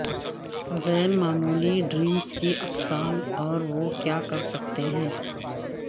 غیر معمولی ڈریمز کی اقسام اور وہ کیا کرسکتے ہیں